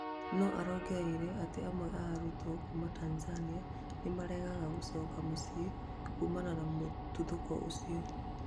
No arongereire atĩ amwe a arutwo kuma Tanzania nĩmararega gũcoka mĩciĩ kumana na mũtũthũko ũcio